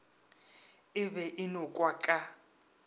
e be e nokwa ka